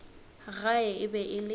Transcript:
gae e be e le